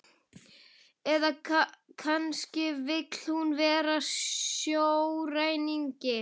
Eða kannski vill hún vera sjóræningi?